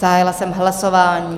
Zahájila jsem hlasování.